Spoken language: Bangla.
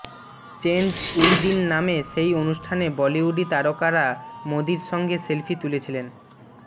চেঞ্জ উইদিন নামে সেই অনুষ্ঠানে বলিউডি তারকারা মোদীর সঙ্গে সেলফি তুলেছিলেন